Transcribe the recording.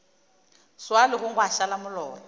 swa legong gwa šala molora